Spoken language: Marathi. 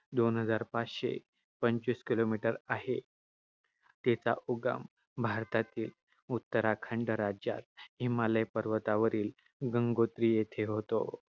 दोन हजार पाचशे पंचवीस kilometers आहे. तिचं उगम भारतातील उत्तराखंड राज्यात हिमालय पर्वतावरील गंगोत्री येथे होतो.